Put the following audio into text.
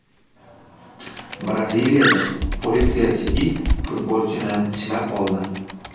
Braziliyada politsiyachi it futbolchini tishlab oldi.